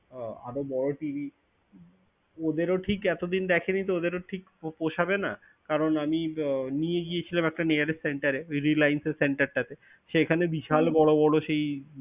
আরও বড়ো TV ওদের ও ঠিক এতদিন দেখেনি তো ওদের ও ঠিক পো~ পসাবেনা কারন আমি আহ নিয়ে গিয়েছিলাম nearest center এ Reliance এর center টাতে, সেখানে বিশাল বড়ো বড়ো সেই,